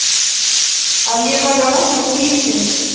Að ég væri að vakna til lífsins.